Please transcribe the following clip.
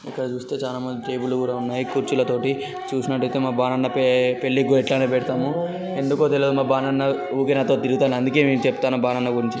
ఇక్కడ చుస్తే చానా టేబుల్ కూడా ఉన్నాయి కుర్చిల తోటి చూసినట్టు అయితే మా బాణాన్న పే-పెళ్ళికి ఇట్లనే పెడతాము. ఎందుకో తెల్వదు మా బాణాన్న ఊకె నాతో తిరుగుతండు. అందుకే చెప్తున్నా మా బాణాన్న గురించి.